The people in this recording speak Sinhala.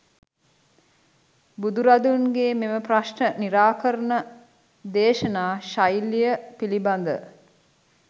බුදුරදුන්ගේ මෙම ප්‍රශ්න නිරාකරණ දේශනා ශෛලිය පිළිබඳ